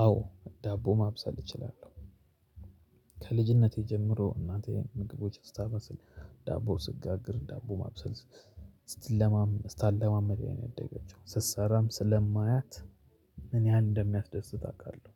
አዎ ዳቦ ማብሰል እችላለሁ። ከልጅነቴ ጀምሮ እናቴ ምግቦች እስታበስል ዳቦ ስጋግር ዳቦ ማብሰል ስታለማመደኝ ያደገችው ስትሰራም ስለማያት እኔ ያ ኢንደሚያስደስት አቃለሁ።